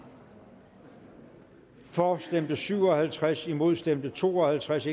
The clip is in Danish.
for stemte syv og halvtreds imod stemte to og halvtreds